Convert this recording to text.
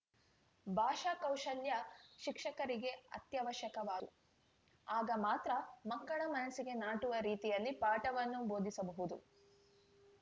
ಭಾಷಾ ಕೌಶಲ್ಯ ಶಿಕ್ಷಕರಿಗೆ ಅತ್ಯವಶ್ಯಕವಾದುದು ಆಗ ಮಾತ್ರ ಮಕ್ಕಳ ಮನಸ್ಸಿಗೆ ನಾಟುವ ರೀತಿಯಲ್ಲಿ ಪಾಠವನ್ನು ಬೋಧಿಸಬಹುದು